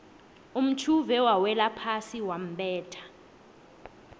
umtjhuve wawelaphasi wambetha